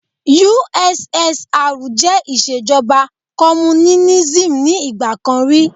USSR jẹ́ ìṣèjọba Kọ́múnínísì ni ìgbà kan rí.